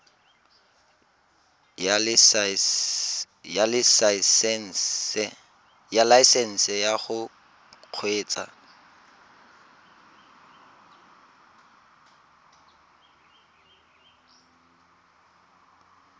ya laesesnse ya go kgweetsa